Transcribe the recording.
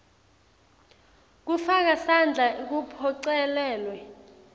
kufaka sandla kuphocelelwe